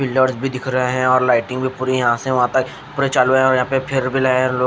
pillars भी दिख रहे है और लाइटिंग भी पुरे यहाँ से वहा तक पुरे चालू है फिर भी यह लोग--